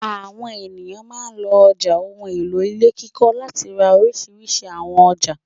Àwọn ènìyàn máa ń lọ ọjà ohun-èlò ilé kíkọ́ láti ra oríṣiríṣi àwọn ọjà.